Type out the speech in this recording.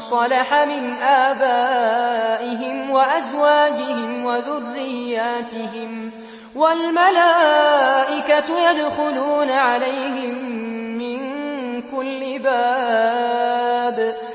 صَلَحَ مِنْ آبَائِهِمْ وَأَزْوَاجِهِمْ وَذُرِّيَّاتِهِمْ ۖ وَالْمَلَائِكَةُ يَدْخُلُونَ عَلَيْهِم مِّن كُلِّ بَابٍ